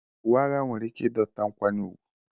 Uwe agha nwere ike dọta nkwanye ùgwù